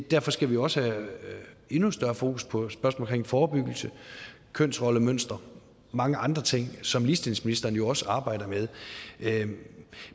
derfor skal vi også have endnu større fokus på spørgsmålet om forebyggelse kønsrollemønstre mange andre ting som ligestillingsministeren jo også arbejder med